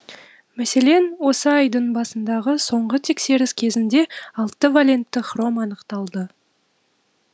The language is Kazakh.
мәселен осы айдың басындағы соңғы тексеріс кезінде алты валентті хром анықталды